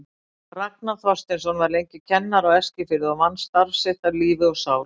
Ragnar Þorsteinsson var lengi kennari á Eskifirði og vann starf sitt af lífi og sál.